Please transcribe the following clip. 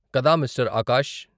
కదా, మిస్టర్ ఆకాష్?